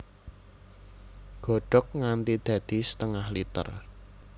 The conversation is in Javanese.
Godhog nganti dadi setengah liter